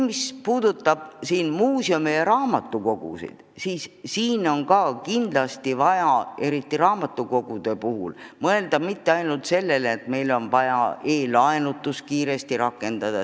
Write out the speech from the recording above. Mis puudutab muuseume ja raamatukogusid, siis pole kindlasti vaja, eriti raamatukogude puhul, mõelda ainult sellele, et meil on vaja e-laenutus kiiresti rakendada.